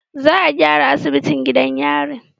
Za a gyara asibitin gidan yari